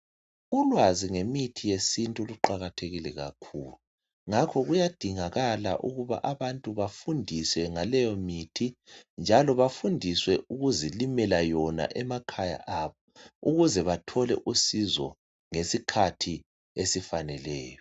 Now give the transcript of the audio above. Ulwazi ngemithi yesintu luqakathekile kakhulu, ngakho kuyadingakala ukuthi abantu bafundiswe ngaleyomithi, njalo bafundiswe ukuzilimela yona emakhaya abo ukuze bathole usizo ngesikhathi esifaneleyo.